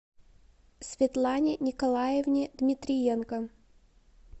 светлане николаевне дмитриенко